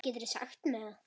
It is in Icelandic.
Geturðu sagt mér það?